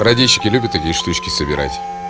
радийщики любят такие штучки собирать